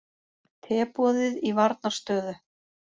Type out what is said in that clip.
Teboðið í varnarstöðu